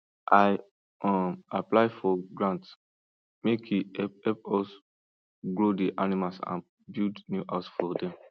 i um apply for grant make e help help us grow the animals and build new house for dem